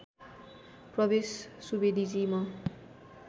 प्रवेश सुवेदीजी म